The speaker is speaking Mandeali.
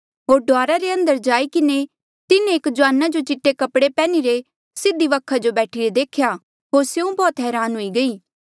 होर डुआरा रे अंदर जाई किन्हें तिन्हें एक जुआना जो चीटे कपड़े पैहनी रे सीधी वखा जो बैठिरे देख्या होर स्यों बौह्त हरान हुई गई